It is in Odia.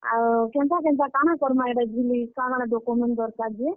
ଆଉ, କେନ୍ତା କେନ୍ତା କାଣା କର୍ ମା ଇଟା ଜୁଲି, କାଣା କାଣା document ଦର୍ କାର୍ ଯେ?